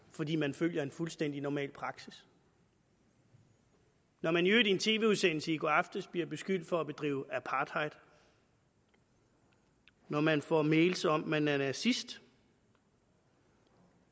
fordi man følger en fuldstændig normal praksis når man i øvrigt i en tv udsendelse i går aftes bliver beskyldt for at bedrive apartheid når man får mails om at man er nazist